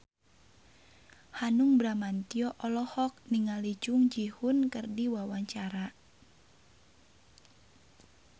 Hanung Bramantyo olohok ningali Jung Ji Hoon keur diwawancara